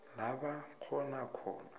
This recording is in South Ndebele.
la bakghona khona